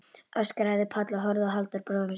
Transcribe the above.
öskraði Páll og horfði á Halldór bróður sinn.